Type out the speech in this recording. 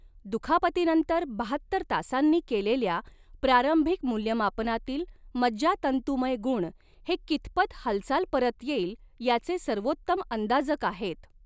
दुखापतीनंतर बहात्तर तासांनी केलेल्या प्रारंभिक मूल्यमापनातील मज्जातंतुमय गुण हे कितपत हालचाल परत येईल याचे सर्वोत्तम अंदाजक आहेत.